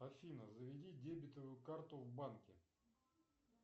афина заведи дебетовую карту в банке